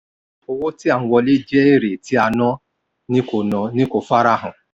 owó tí a n wọlé jẹ́ èrè tí a ná ni kó ná ni kó farahàn.